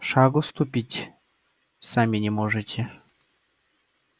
шагу ступить сами не можете